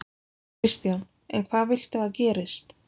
Kristján: En hvað viltu að gerist?